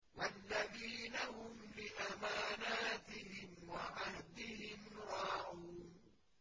وَالَّذِينَ هُمْ لِأَمَانَاتِهِمْ وَعَهْدِهِمْ رَاعُونَ